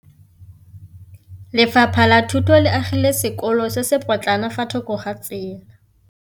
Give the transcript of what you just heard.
Lefapha la Thuto le agile sekôlô se se pôtlana fa thoko ga tsela.